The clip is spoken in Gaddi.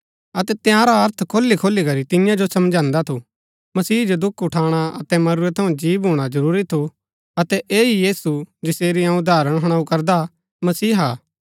अतै तंयारा अर्थ खोलीखोली करी तियां जो समझांदा थू मसीह जो दुख उठाणा अतै मरूरै थऊँ जी भूणा जरूरी थु अतै ऐह ही यीशु जसेरी अऊँ उदाहरण हुणाऊ करदा मसीहा हा